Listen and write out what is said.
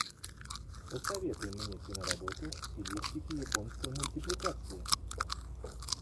посоветуй мне киноработу в стилистике японской мультипликации